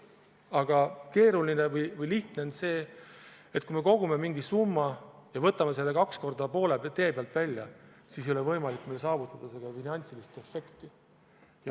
Aga lihtne on see, et kui me kogume mingi summa ja võtame selle kaks korda poole tee peal välja, siis ei ole meil võimalik saavutada finantsilist efekti.